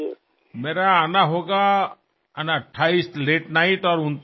मी 28 तारखेला रात्री उशिरा किंवा 29 तारखेला पहाटे पोहोचेन